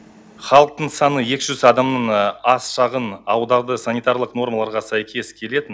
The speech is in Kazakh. халықтың саны екі жүз адамнан аз шағын ауылдарды санитарлық нормаларға сәйкес келетін